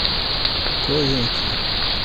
ковентри